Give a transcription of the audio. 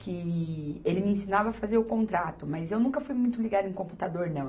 que ele me ensinava a fazer o contrato, mas eu nunca fui muito ligada em computador, não.